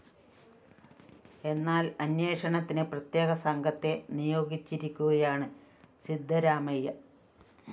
എന്നാല്‍ അന്വേഷണത്തിന് പ്രത്യേക സംഘത്തെ നിയോഗിച്ചിരിക്കുകയാണ് സിദ്ധരാമയ്യ